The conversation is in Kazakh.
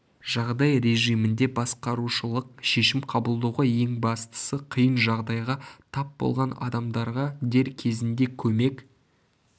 жағдай режимінде басқарушылық шешім қабылдауға ең бастысы қиын жағдайға тап болған адамдарға дер кезінде көмек